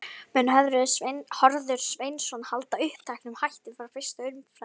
Mun Hörður Sveinsson halda uppteknum hætti frá fyrstu umferð?